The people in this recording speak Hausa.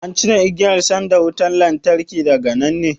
An cire igiyar sandan wutan lantarkin daga nan ne?